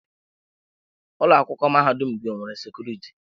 Ụlọ akwụkwọ mahadum gị o nwere sekuriti?